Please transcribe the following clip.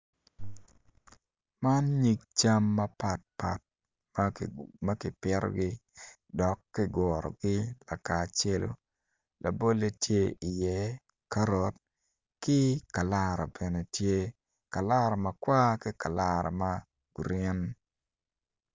Man nyig cam mapatpat ma kipitogi dok kigurogi kaka acelu labolle tye iye karot ki kalara bene tye kalara makwar ki kalara ma green.